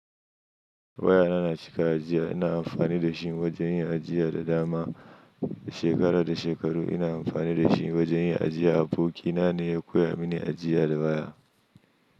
Waya na, na cika ajiya. Ina amfani da shi wajen yin ajiya da dama. Shekara da shekaru ina amfani da shi wajen yin ajiya. Abokina ne ya koya mini ajiya da waya.